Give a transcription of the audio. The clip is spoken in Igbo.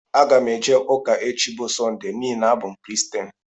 Aga m eje ụka echi bu Sọnde n'ihi na abụ m Kiristian.